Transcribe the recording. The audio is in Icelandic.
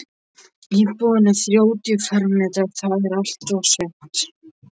Íbúðin er þrjátíu fermetrar- það er allt og sumt.